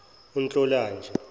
untlolanja